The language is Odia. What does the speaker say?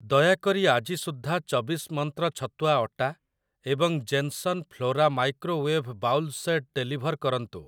ଦୟାକରି ଆଜି ସୁଦ୍ଧା ଚବିଶ ମନ୍ତ୍ର ଛତୁଆ ଅଟା ଏବଂ Jenson Flora microwave bowl set deliver କରନ୍ତୁ ।